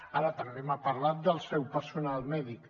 ara també m’ha parlat del seu personal mèdic